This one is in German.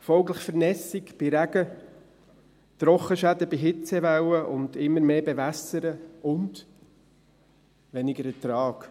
folglich Vernässung bei Regen, Trockenschäden bei Hitzewelle und immer bewässern und weniger Ertrag.